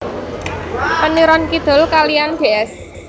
Peniron Kidul kaliyan Ds